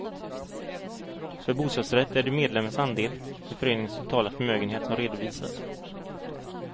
För bostadsrätt är det medlemmens andel i föreningens totala förmögenhet som redovisas.